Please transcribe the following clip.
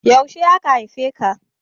Yaushe aka haife ka?